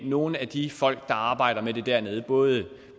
nogle af de folk der arbejder med det dernede både